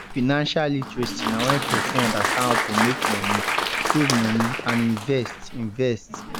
financial literacy na when person understand how to make money save money and invest invest